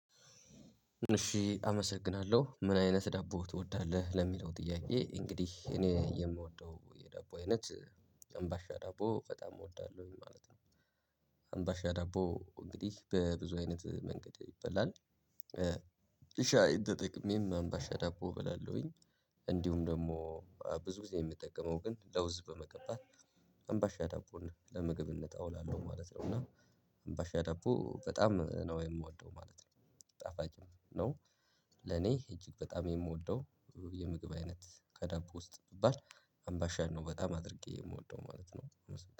እሺ አመሰግናለሁ ምን አይነት ዳቦ ትወዳለህ ለሚለው ጥያቄ እንግዲህ እኔ የምወደው የዳቦ አይነት አምባሻ ዳቦ በጣም እወዳለሁኝ ማለት ነው። አምባሻ ዳቦ እንግዲህ በብዙ አይነት መንገድ ይበላል። ሻይ ተጠቅሜም አምባሻ ዳቦ በላለሁኝ። እንዲሁም ደግሞ ብዙ ጊዜ የምጠቀመው ግን ለውዝ በመቀባት አምባሻ ዳቦንለምግብነት እንውላለው ማለት ነው። እና አምባሻ ዳቦ በጣም ነው የምወደው ማለት ነው። ጣፋጭም ነው። ለኔ እጅግ በጣም የምወደው የምግብ አይነት ከዳቦ ውስጥ ብባል አምባን ነው በጣም አድርጌ የምወደው ማለት ነው።